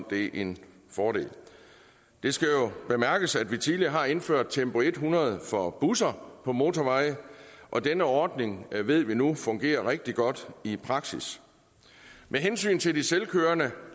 det er en fordel det skal jo bemærkes at vi tidligere har indført tempo hundrede for busser på motorveje og denne ordning ved vi nu fungerer rigtig godt i praksis med hensyn til de selvkørende